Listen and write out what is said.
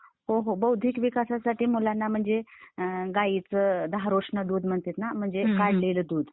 हो हो बौद्धिक विकासासाठी मुलांना म्हणजे गाईच धारोष्ण दूध म्हणतात ना? ते काढलेल दूध